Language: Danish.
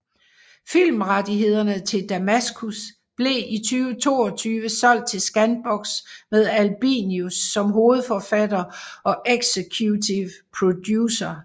Filmrettighederne til Damaskus blev i 2022 solgt til Scanbox med Albinus som hovedforfatter og executive producer